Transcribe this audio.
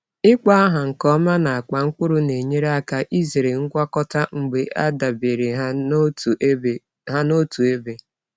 Ịkpọ aha nke ọma n’akpa mkpụrụ na-enyere aka izere ngwakọta mgbe a debere ha n’otu ebe. ha n’otu ebe.